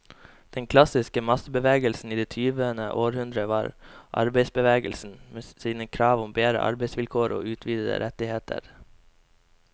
Den klassiske massebevegelsen i det tyvende århundre var arbeiderbevegelsen, med sine krav om bedre arbeidsvilkår og utvidede rettigheter.